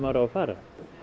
á að fara